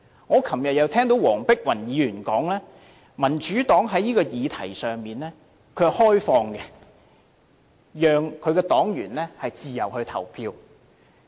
我昨天又聽到黃碧雲議員表示民主黨在這項議題上是開放的，讓其黨員自由投票。